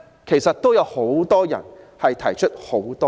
其實有不少人亦提出多項質疑。